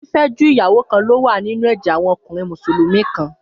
Fífẹ́ ju ìyàwó kan lọ wà nínú ẹ̀jẹ̀ àwọn ọkùnrin Mùsùlùmí kan.